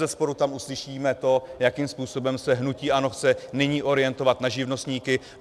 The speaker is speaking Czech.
Bezesporu tam uslyšíme to, jakým způsobem se hnutí ANO chce nyní orientovat na živnostníky.